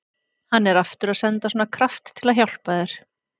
Hann er aftur að senda svona kraft til að hjálpa þér.